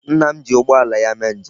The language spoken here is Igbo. Nna m ji ụgbọala ya mee nje m.